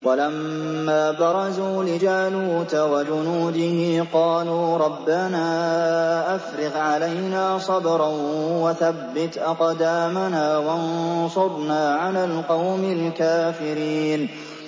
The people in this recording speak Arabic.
وَلَمَّا بَرَزُوا لِجَالُوتَ وَجُنُودِهِ قَالُوا رَبَّنَا أَفْرِغْ عَلَيْنَا صَبْرًا وَثَبِّتْ أَقْدَامَنَا وَانصُرْنَا عَلَى الْقَوْمِ الْكَافِرِينَ